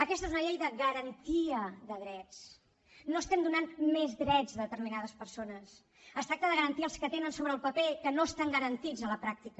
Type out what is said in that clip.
aquesta és una llei de garantia de drets no estem donant més drets a determinades persones es tracta de garantir els que tenen sobre el paper que no estan garantits a la pràctica